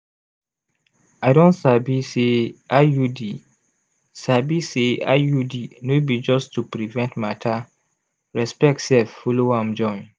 i don sabi say iud sabi say iud no be just to prevent matter respect sef follow am join.